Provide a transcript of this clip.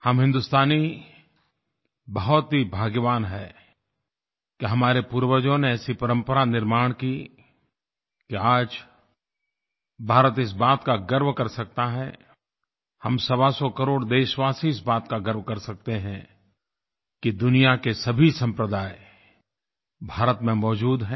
हम हिन्दुस्तानी बहुत ही भाग्यवान हैं कि हमारे पूर्वजों ने ऐसी परंपरा निर्माण की कि आज भारत इस बात का गर्व कर सकता है हम सवासौ करोड़ देशवासी इस बात का गर्व कर सकते हैं कि दुनिया के सभी सम्प्रदाय भारत में मौजूद हैं